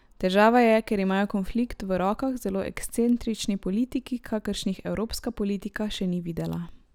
Težava je, ker imajo konflikt v rokah zelo ekscentrični politiki, kakršnih evropska politika še ni videla.